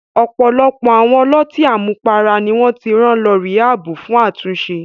Ọ̀pọ̀lọpọ̀ àwọn ọlọ́tí àmupara ni wọ́n ti rán lọ ríhábù fún àtúnṣe.